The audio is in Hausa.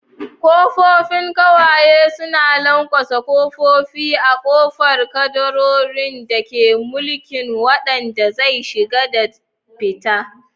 Kofofin kwaye suna lanƙwasa ƙofofi a ƙofar kadarorin da ke mulkin wanda zai shiga da fita.